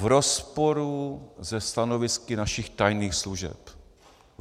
V rozporu se stanovisky našich tajných služeb.